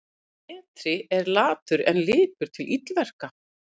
Betri er latur en lipur til illverka.